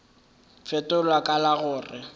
fetola ka la go re